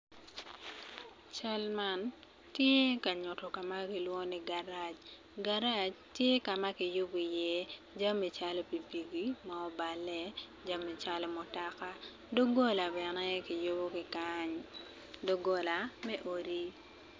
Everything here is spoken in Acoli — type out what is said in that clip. Cal man tye ka nyuto kama kilwongo ni garaj, garaj tye kama kiyubo i ye jami calo pipiki mo obale, jami calo mutoka dogola bene kiyubo ki kany dogola me odi.